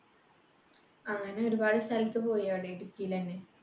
അങ്ങനെ ഒരുപാടു സ്ഥലത്ത് പോയി അവിടെ ഇടുക്കിയിലന്നെ